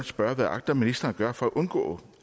spørge hvad agter ministeren at gøre for at undgå